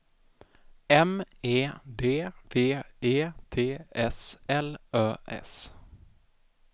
M E D V E T S L Ö S